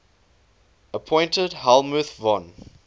appointed helmuth von